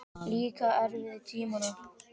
Líka erfiðu tímana.